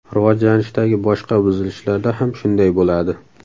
Rivojlanishdagi boshqa buzilishlarda ham shunday bo‘ladi.